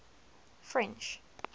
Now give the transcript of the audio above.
french